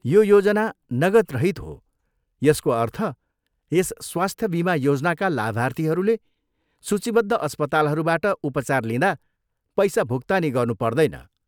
यो योजना नगदरहित हो, यसको अर्थ यस स्वास्थ्य बिमा योजनाका लाभार्थीहरूले सूचीबद्ध अस्पतालहरूबाट उपचार लिँदा पैसा भुक्तानी गर्नु पर्दैन।